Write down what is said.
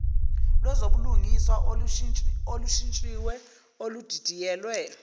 lwezobulungiswa olushintshiwe oludidiyelwe